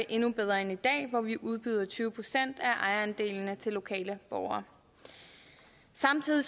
endnu bedre end i dag hvor vi udbyder tyve procent af ejerandelene til lokale borgere samtidig